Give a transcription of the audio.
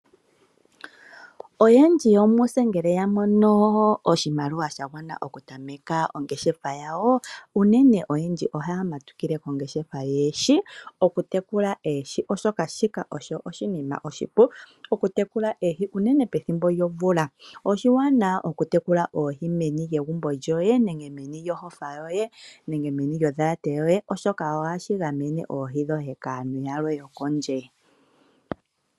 Oyendji yomutse ngele ya mono oshimwaliwa sha gwana oku tameka ongeshefa, oyendji ohaya matukile kongeshefa yoohi. Oku tekula oohi osho oshinima oshipu unene pethimbo lyomvula. Oshiwanawa oku tekula oohi meni lyegumbo lyoye, meni lyohofa yoye nenge meni lyondhalate yoye, oshoka ohashi gamene oohi dhoye kaantu yalwe yokondje.